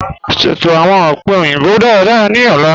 Sẹto awọn ọ̀pẹ̀ oyinbo dáràdárà ni ọ̀lá.